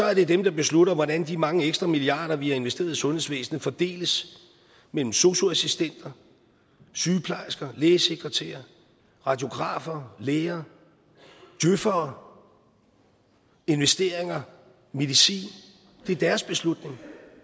er det dem der beslutter hvordan de mange ekstra milliarder vi har investeret i sundhedsvæsenet fordeles mellem sosu assistenter sygeplejersker lægesekretærer radiografer læger djøfere investeringer medicin det er deres beslutning